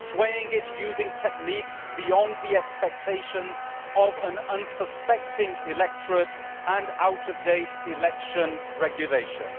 swaying it using techniques beyond the expectations of an unsuspecting electorate and out of date election regulations.